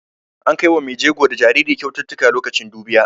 An kai wa mai jego da jaririn kyaututtuka lokacin dubiya.